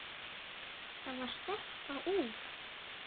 Það var stelpa úr